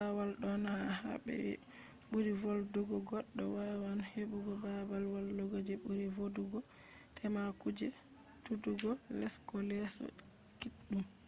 bawo ɗon ha babe je ɓuri vodugo goɗɗo wawan heɓugo baabal wallugo je ɓuri vodugo tema kuje suddugo leso ko leeso kiɗɗum